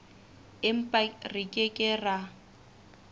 empa re ke ke ra